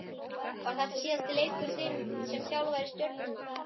Var þetta síðasti leikur þinn sem þjálfari Stjörnunnar?